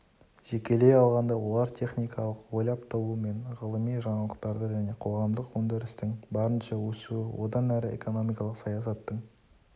жекелей алғанда олар техникалық ойлап табу мен ғылыми жаңалықтарды және қоғамдық өндірістің барынша өсуін одан әрі экономикалық саясаттың